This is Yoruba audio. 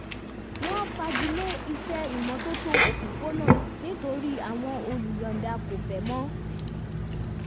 wọ́n fagilé iṣẹ́ ìmọ́tótó òpópónà nítorí àwọn olùyọ̀ọ̀da kò fẹ́ mọ́